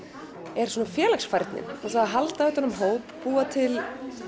er félagsfærnin og það að halda utan um hóp búa til